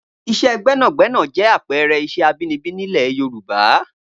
Iṣẹ́ gbẹ́nàgbẹ́nà jẹ́ àpẹẹrẹ iṣẹ́ abinibi nílẹ̀ Yorùbá